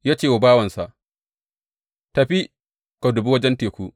Ya ce wa bawansa, Tafi ka dubi wajen teku.